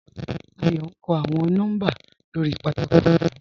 Àyọ̀ n kọ́ awọn nọ́mbà lórí pátákò fúnfún.